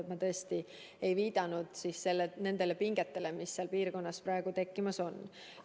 Ma tõesti ei viidanud nendele pingetele, mis seal piirkonnas praegu tekkimas on.